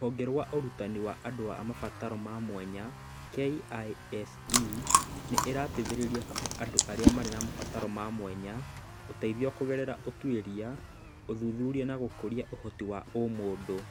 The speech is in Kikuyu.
Rũhonge rwa Ũrutani wa andũ a mabataro ma mwanya (KISE) nĩ ĩteithagĩrĩria kũhe andũ arĩa marĩ na mabataro ma mwanya ũteithio kũgerera ũtuĩria, ũthuthuria na gũkũria ũhoti wa ũmũndũ.